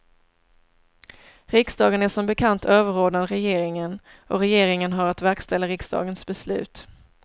Riksdagen är som bekant överordnad regeringen och regeringen har att verkställa riksdagens beslut.